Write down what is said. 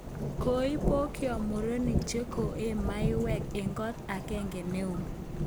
Koibokcho murenik che koee maiwek eng kot agenge neoos